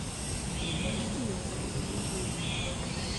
Itiyo kodgi duto e winjo.